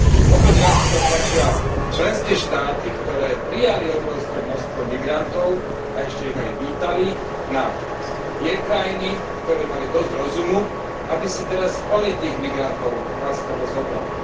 Opäť raz teda tlačia členské štáty, ktoré prijali obrovské množstvo migrantov a ešte ich aj vítali, na tie krajiny, ktoré mali dosť rozumu, aby si teraz ony tých migrantov láskavo zobrali.